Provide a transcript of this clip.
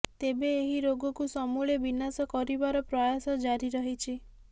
ତେବେ ଏହି ରୋଗକୁ ସମୂଳେ ବିନାଶ କରିବାର ପ୍ରୟାସ ଜାରି ରହିଛି